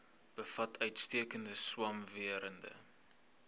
bevat uitstekende swamwerende